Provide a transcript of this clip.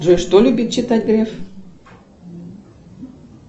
джой что любит читать греф